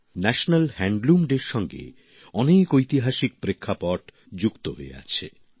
national handloom ডের সঙ্গে অনেক ঐতিহাসিক প্রেক্ষাপট যুক্ত হয়ে আছে